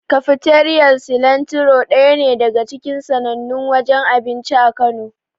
Kafiteriyar Silantiro daya ne daga cikin sannannun wajen abinci a Kano.